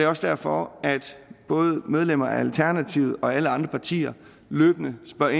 også derfor at både medlemmer af alternativet og alle andre partier løbende spørger